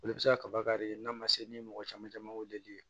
Olu bɛ se ka kaba kari n'a ma se ni mɔgɔ caman caman weeleli ye